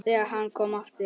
ÞEGAR HANN KOM AFTUR